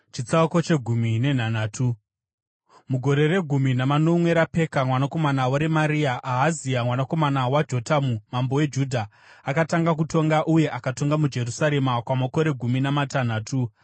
Mugore regumi namanomwe raPeka mwanakomana waRemaria, Ahazi mwanakomana waJotamu mambo weJudha akatanga kutonga uye akatonga muJerusarema kwamakore gumi namatanhatu.